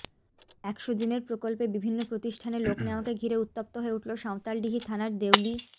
একশো দিনের প্রকল্পে বিভিন্ন প্রতিষ্ঠানে লোক নেওয়াকে ঘিরে উত্তপ্ত হয়ে উঠল সাঁওতালডিহি থানার দেউলি